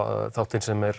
þáttinn sem er